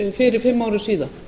fyrir fimm árum síðan